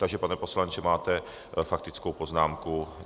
Takže pane poslanče, máte faktickou poznámku.